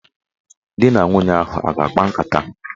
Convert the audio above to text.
Dị na nwunye ahụ a ga-akpa nkata?